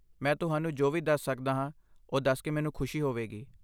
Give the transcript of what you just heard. ਮੈਂ ਤੁਹਾਨੂੰ ਜੋ ਵੀ ਦੱਸ ਸਕਦਾ ਹਾਂ ਉਹ ਦੱਸ ਕੇ ਮੈਨੂੰ ਖੁਸ਼ੀ ਹੋਵੇਗੀ।